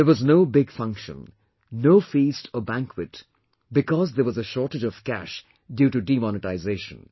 There was no big function, no feast or banquet because there was a shortage of cash due to demonetisation